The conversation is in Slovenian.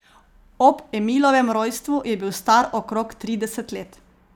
Ob Emilovem rojstvu je bil star okrog trideset let.